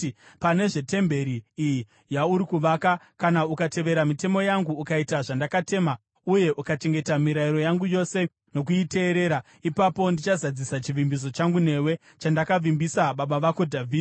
“Pane zvetemberi iyi yauri kuvaka, kana ukatevera mitemo yangu, ukaita zvandakatema, uye ukachengeta mirayiro yangu yose nokuiteerera, ipapo ndichazadzisa chivimbiso changu newe, chandakavimbisa baba vako Dhavhidhi.